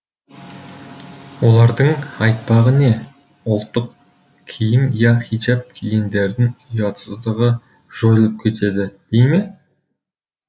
олардың айтпағы не ұлттық киім я хиджаб кигендердің ұятсыздығы жойылып кетеді дей ме